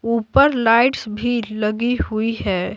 ऊपर लाइट्स भी लगी हुई है।